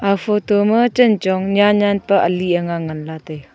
aga photo ma chanchong nyannyan pa ali anga ngantaiga.